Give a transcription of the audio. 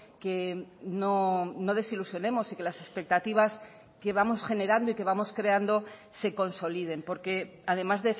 que no desilusionemos y que las expectativas que vamos generando y que vamos creando se consoliden porque además